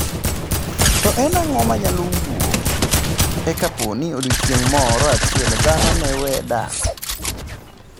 To en ang'o manyalo wuok e ka pooni odiochieng' moro achiel dhano ne wee dak?